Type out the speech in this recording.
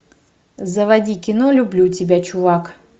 заводи кино люблю тебя чувак